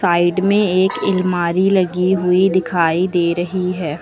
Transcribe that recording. Side में एक एलमारी लगी हुई दिखाई दे रही है।